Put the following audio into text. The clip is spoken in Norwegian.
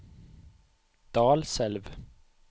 Dalselv